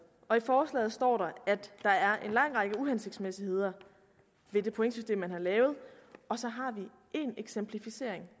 og i forslaget står der at der er en lang række uhensigtsmæssigheder ved det pointsystem man har lavet og så har vi én eksemplificering